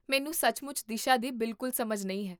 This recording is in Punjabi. ਮੈਨੂੰ ਸੱਚਮੁੱਚ ਦਿਸ਼ਾ ਦੀ ਬਿਲਕੁਲ ਸਮਝ ਨਹੀਂ ਹੈ